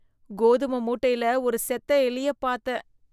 கோதும மூட்டையில ஒரு செத்த எலியப் பாத்தேன்.